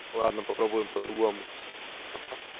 ладно попробуем по-другому